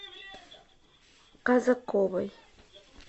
казаковой